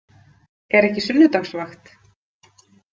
Er ekki sunnudagsvakt?